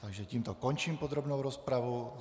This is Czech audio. Takže tímto končím podrobnou rozpravu.